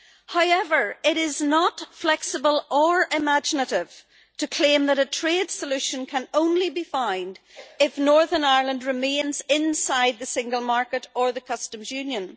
However, it is not flexible or imaginative to claim that a trade solution can only be found if Northern Ireland remains inside the single market or the customs union.